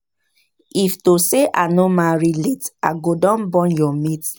If to say I no marry late I go don born your mate